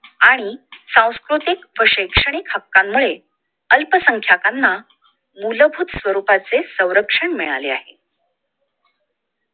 आणि सांस्कृतिक व शैक्षणिक हक्कांमुळे अल्पसंख्यांकांना मूलभूत स्वरूपाचे संरक्षण मिळाले आहे